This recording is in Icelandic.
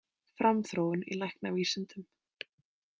Framþróun í læknavísindum.